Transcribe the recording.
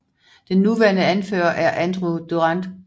Den nuværende anfører er Andrew Durante